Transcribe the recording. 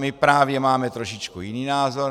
My právě máme trošičku jiný názor.